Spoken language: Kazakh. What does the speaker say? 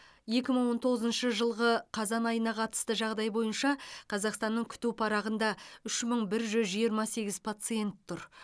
екі мың он тоғызыншы жылғы қазан айына қатысты жағдай бойынша қазақстанның күту парағында үш мың бір жүз жиырма сегіз пациент тұр